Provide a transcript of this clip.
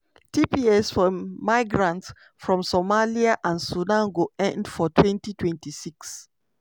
tps for migrants from somalia and sudan go end for 2026.